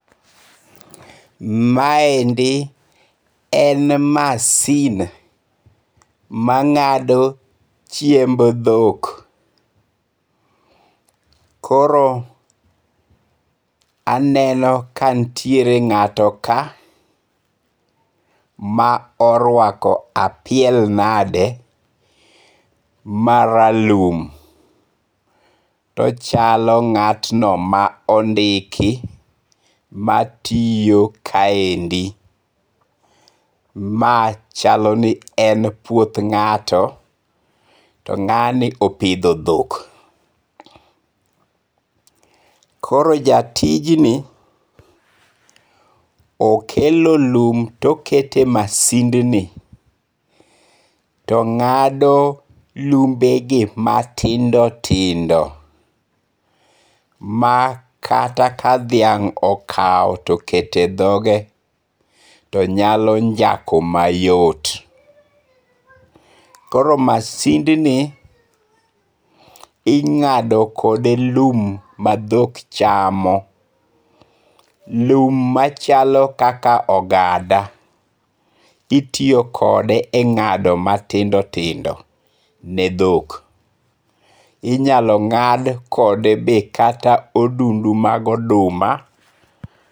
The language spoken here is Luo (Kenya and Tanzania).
Ma endi en masin ma ng'ado chiemb dhok. Koro aneno ka nitiere ng'ato ka ma orwako apiel nade ma ralum. Tochalo ng'atno ma ondiki ma tiyo kaendi. Ma chalo ni en puoth ng'ato. To ng'ani opidho dhok. Kor jatij ni okelo lum tokete masind ni to ng'ado lumbe gi matindo tindo. Makata ka dhiang' okaw tokete dhonge tonyalo njako mayot. Koro masind ni ing'ado kode lum ma dhok chamo. Lum machalo kaka ogada, itiyo kode e ng'ado matindo tindo ne dhok. Inyalo ng'ad kode be kata odundu mag oduma.